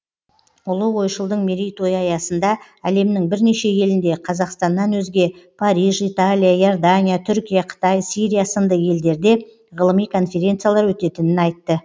ұлы ойшылдың мерейтойы аясында әлемнің бірнеше елінде қазақстаннан өзге париж италия иордания түркия қытай сирия сынды елдерде ғылыми конференциялар өтетінін айтты